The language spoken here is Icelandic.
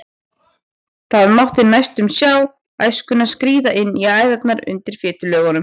Það mátti næstum sjá æskuna skríða inn í æðarnar undir fitulögunum.